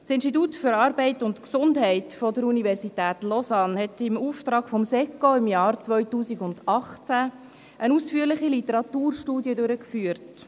Das Institut für Arbeit und Gesundheit der Universität Lausanne führte im Auftrag des Staatssekretariats für Wirtschaft (SECO) im Jahr 2018 eine ausführliche Literaturstudie durch.